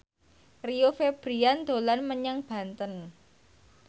Rio Febrian dolan menyang Banten